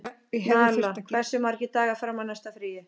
Nala, hversu margir dagar fram að næsta fríi?